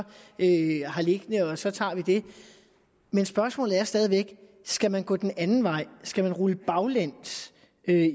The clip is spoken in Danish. har liggende og så tager vi dem men spørgsmålet er stadig væk skal man gå den anden vej skal man rulle baglæns